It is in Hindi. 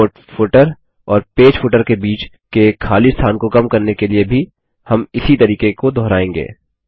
रिपोर्ट फूटर और पेज फूटर के बीच के खाली स्थान को कम करने के लिए भी हम इसी तरीके को दोहराएँगे